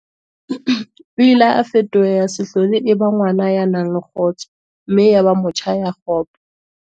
O ile a fetoha ya sa hlole e ba ngwana ya nang le kgotso mme ya ba motjha ya kgopo.